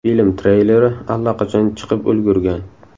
Film treyleri allaqachon chiqib ulgurgan.